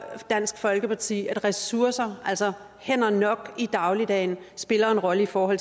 dansk folkeparti at ressourcer altså hænder nok i dagligdagen spiller en rolle for